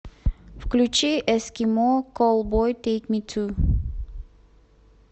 включи эскимо коллбой тэйк ми ту